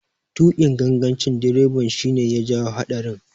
Tuƙin gangancin direban shi ne ya jawo haɗarin.